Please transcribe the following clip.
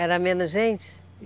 Era menos gente?